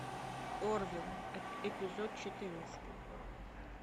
орвилл эпизод четырнадцатый